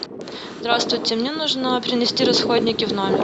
здравствуйте мне нужно принести расходники в номер